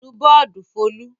Nù bọ́ọ́dù Folú!